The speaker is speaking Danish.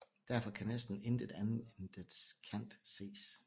Derfor kan næsten intet andet end dets kant ses